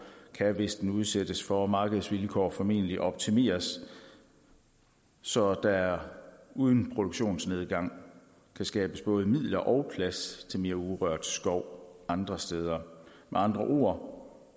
kan hvis den udsættes for markedsvilkår formentlig optimeres så der uden produktionsnedgang kan skabes både midler og plads til mere urørt skov andre steder med andre ord